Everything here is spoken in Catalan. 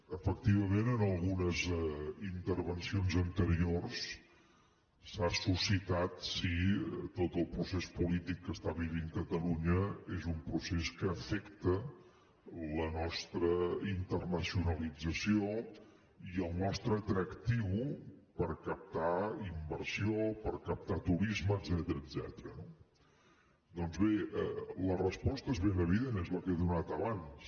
efectivament en algunes intervencions anteriors s’ha suscitat si tot el procés polític que està vivint catalunya és un procés que afecta la nostra internacionalització i el nostre atractiu per captar inversió per captar turisme etcètera no doncs bé la resposta és ben evident és la que he donat abans